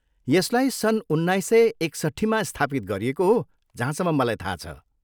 यसलाई सन् उन्नाइस सय एकसट्ठीमा स्थापित गरिएको हो, जहाँसम्म मलाई थाहा छ।